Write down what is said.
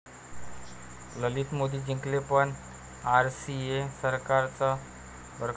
ललित 'मोदी' जिंकले पण आरसीए 'सरकार'च बरखास्त!